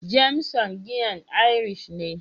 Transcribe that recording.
"Jameson", giyan irish ne.